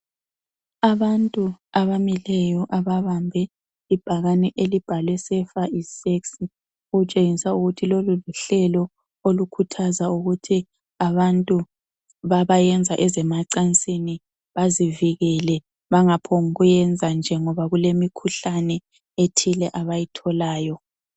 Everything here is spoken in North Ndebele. Abantu abamileyo ababambe ibhakane elibhalwe "safer is sexy" okutshengisa ukuthi lolu luhlelo olukhuthaza ukuthi abantu babayenza ezemacansini bazivikele bangaphongukuyenza nje ngoba kulemikhuhlane ethile abayitholayo.